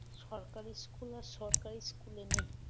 সরকারি school আর সরকারি school নেই